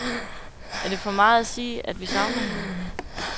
Er det for meget at sige, at vi savner hende?